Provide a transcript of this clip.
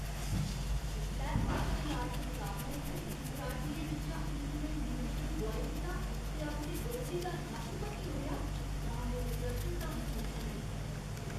जिसलै martial art मकाबले च कराटियें बिच्चा इक ने नियंत्रण गोआई दित्ता ते अपने बरोधी दा नक्क भन्नी ओड़ेआ तां में विकर्शनता मसूस कीती।